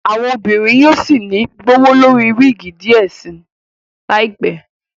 Àwọn obìnrin yóò sí ní gbowólori wigi diẹ sí láìpé